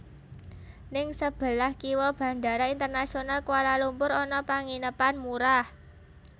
Ning sebelah kiwo Bandara Internasional Kuala Lumpur ana penginepan murah